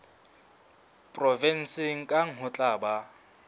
provenseng kang ho tla ba